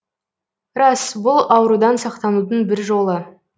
рас бұл аурудан сақтанудың бір жолы